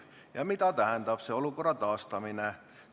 Ja mida tähendab see olukorra taastamine?